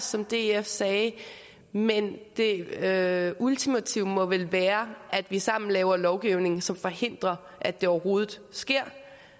som df sagde men det ultimative må vel være at vi sammen laver lovgivning som forhindrer at det overhovedet sker